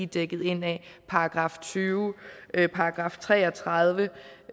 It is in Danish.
dækket ind af § tyve § tre og tredive